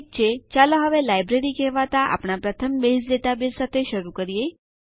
ઠીક છે ચાલો હવે લાઇબ્રેરી કહેવાતા આપણા પ્રથમ બેઝ ડેટાબેઝ સાથે શરુ કરીએ